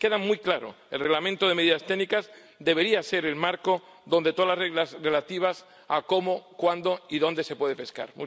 Queda muy claro el Reglamento de medidas técnicas debería ser el marco para todas las reglas relativas a cómo, cuándo y dónde se puede pescar.